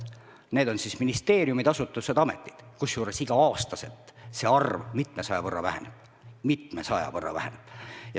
Need on siis ministeeriumid, asutused, ametid, kusjuures iga-aastaselt väheneb see arv mitmesaja võrra.